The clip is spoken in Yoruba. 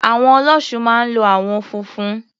Àwọ̀n Ọlọ́ṣun máa ń lo àwọn funfun.